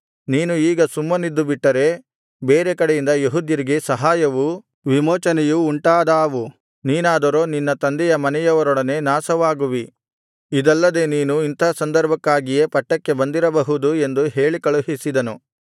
ನೀನು ಈಗ ಸುಮ್ಮನಿದ್ದುಬಿಟ್ಟರೆ ಬೇರೆ ಕಡೆಯಿಂದ ಯೆಹೂದ್ಯರಿಗೆ ಸಹಾಯವೂ ವಿಮೋಚನೆಯೂ ಉಂಟಾದಾವು ನೀನಾದರೋ ನಿನ್ನ ತಂದೆಯ ಮನೆಯವರೊಡನೆ ನಾಶವಾಗುವಿ ಇದಲ್ಲದೆ ನೀನು ಇಂಥ ಸಂದರ್ಭಕ್ಕಾಗಿಯೇ ಪಟ್ಟಕ್ಕೆ ಬಂದಿರಬಹುದು ಎಂದು ಹೇಳಿಕಳುಹಿಸಿದನು